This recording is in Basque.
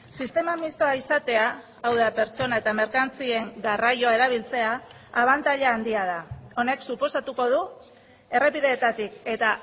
sistema mistoa izatea hau da pertsona eta merkantzien garraioa erabiltzea abantaila handia da honek suposatuko du errepideetatik eta